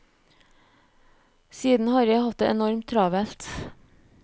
Siden har jeg hatt det enormt travelt.